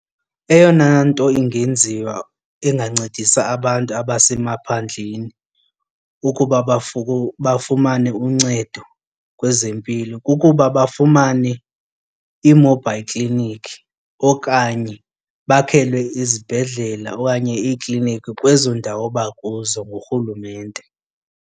Eyona nto ingenziwa ingancedisa abantu abasemaphandleni ukuba bafumane uncedo kwezempilo kukuba bafumane ii-mobile clinic okanye bakhelwe izibhedlela okanye iikliniki kwezo ndawo abakuzo ngurhulumente.